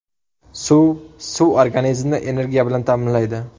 Suv Suv organizmni energiya bilan ta’minlaydi.